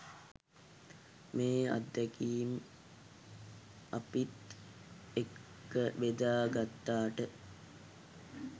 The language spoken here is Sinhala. මේ අත්දැකීම් අපිත් එක්ක ‍බෙදා ගත්තාට.